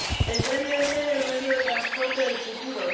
El tren debe ser el medio de transporte del futuro.